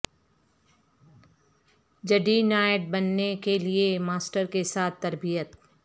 جڈی knight بننے کے لئے ماسٹر کے ساتھ تربیت